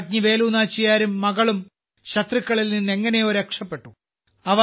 രാജ്ഞി വേലു നാച്ചിയാരും മകളും ശത്രുക്കളിൽ നിന്ന് എങ്ങനെയോ രക്ഷപ്പെട്ടു